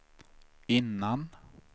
innan